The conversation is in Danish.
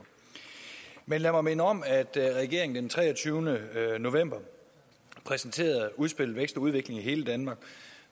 men lad mig minde om at regeringen den treogtyvende november præsenterede udspillet vækst og udvikling i hele danmark